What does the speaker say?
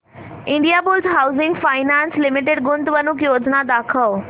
Indiabulls Housing Finance Limited गुंतवणूक योजना दाखव